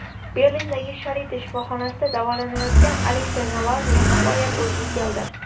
Berlindagi Sharite shifoxonasida davolanayotgan Aleksey Navalniy nihoyat o‘ziga keldi .